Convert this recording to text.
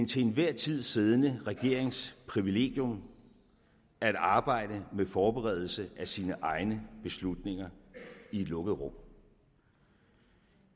til enhver tid siddende regerings privilegium at arbejde med forberedelse af sine egne beslutninger i et lukket rum